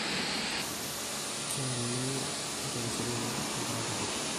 Keeni inkeresureni tenkaraki nkirik